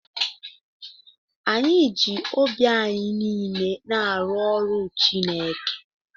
Anyị ji obi anyị niile na-arụ ọrụ Chineke.